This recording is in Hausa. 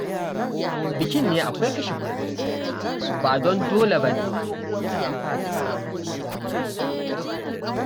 Bikin ne akwai kashe kuɗi, ba don dole ba ne da an fasa